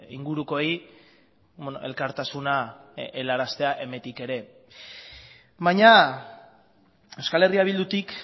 ingurukoei elkartasuna helaraztea emetik ere baina euskal herria bildutik